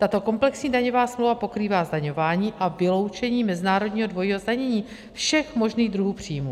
Tato komplexní daňová smlouva pokrývá zdaňování a vyloučení mezinárodního dvojího zdanění všech možných druhů příjmů.